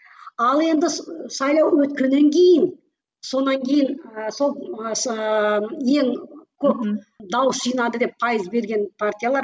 ал енді сайлау өткеннен кейін сонан кейін ыыы сол ыыы ең көп дауыс жинады деп пайыз берген партиялар